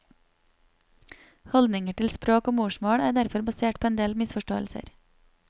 Haldningar til språk og morsmål er derfor basert på ein del misforståingar.